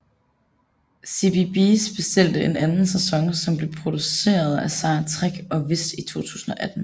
CBeebies bestilte en anden sæson som blev produceret af Sarah Trigg og vist i 2018